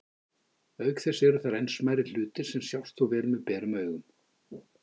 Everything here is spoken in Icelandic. Auk þess eru þar enn smærri hlutir sem sjást þó vel með berum augum.